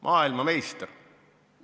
Maailmameister!